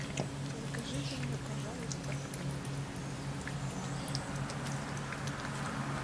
закажите мне пожалуйста блины